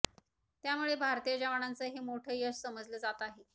त्यामुळे भारतीय जवानांचं हे मोठं यश समजलं जात आहे